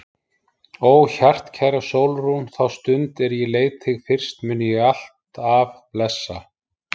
Ó hjartkæra Sólrún, þá stund er ég leit þig fyrst mun ég alt af blessa.